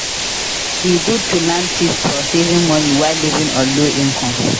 E good to learn tips for saving money while living on low income.